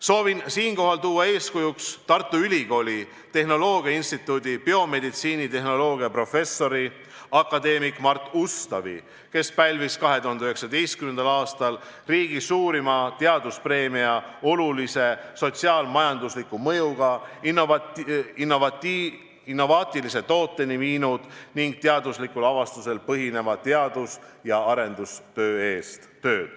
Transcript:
Soovin siinkohal tuua eeskujuks Tartu Ülikooli tehnoloogiainstituudi biomeditsiinitehnoloogia professorit akadeemik Mart Ustavit, kes pälvis 2019. aastal riigi suurima teaduspreemia olulise sotsiaal-majandusliku mõjuga, innovaatilise tooteni viinud ning teaduslikul avastusel põhineva teadus- ja arendustöö eest.